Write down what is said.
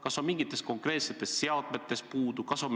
Kas on mingeid konkreetseid seadmeid puudu?